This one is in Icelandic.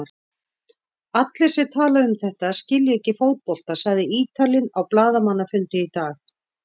Allir sem tala um þetta skilja ekki fótbolta, sagði Ítalinn á blaðamannafundi í dag.